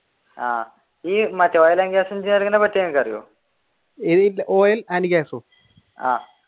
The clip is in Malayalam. ആഹ്